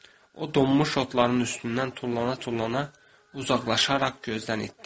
O donmuş otların üstündən tullana-tullana uzaqlaşaraq gözdən itdi.